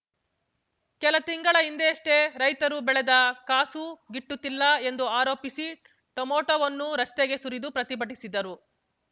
ಕೆಲ ತಿಂಗಳ ಹಿಂದಷ್ಟೇ ರೈತರು ಬೆಳೆದ ಕಾಸೂ ಗಿಟ್ಟುತ್ತಿಲ್ಲ ಎಂದು ಆರೋಪಿಸಿ ಟೊಮೆಟೋವನ್ನು ರಸ್ತೆಗೆ ಸುರಿದು ಪ್ರತಿಭಟಿಸಿದ್ದರು